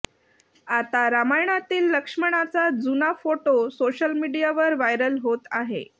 आता रामायणातील लक्ष्मणाचा जुना फोटो सोशल मीडियावर व्हायरल होत आहे